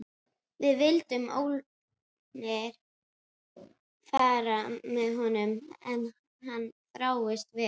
Við vildum ólmir fara með honum en hann þráaðist við.